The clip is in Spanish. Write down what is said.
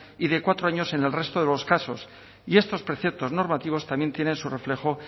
y de cuatro años en el resto de los casos y estos preceptos normativos también tienen su reflejo